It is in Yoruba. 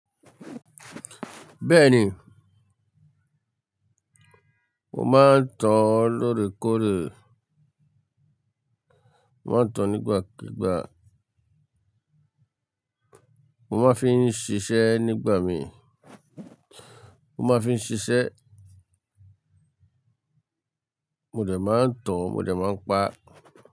Bẹ́ẹ̀ni, mo máa ń tan lóòrèkóòrè, mo máa ń tan nígbàkígbà, mo máa ń fi ń ṣiṣẹ́ nígbà mi, mo máa ń fi ń ṣiṣẹ́. Mo dẹ̀ máa ń tan, mo dẹ̀ máa ń pa.